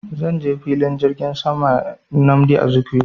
Zan je filin jirgin saman nnamdi Azikiwe